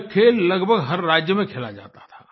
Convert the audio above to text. यह खेल लगभग हर राज्य में खेला जाता था